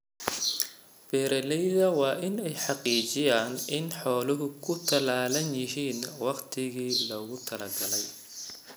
Beeralaydu waa inay xaqiijiyaan in xooluhu ku tallaalan yihiin waqtigii loogu talagalay.